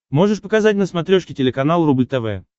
можешь показать на смотрешке телеканал рубль тв